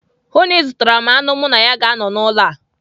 Hụụ na ị zụtara m anụ mụ na ya ga-anọ n'ụlọ a!